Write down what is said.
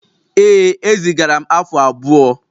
Ee ezigara m afu abuo.